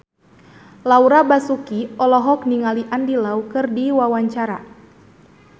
Laura Basuki olohok ningali Andy Lau keur diwawancara